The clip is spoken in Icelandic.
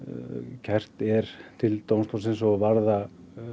kært er til dómstólsins og varða